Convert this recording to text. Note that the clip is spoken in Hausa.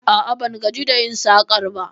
A'a, ban gaji da yin sakar ba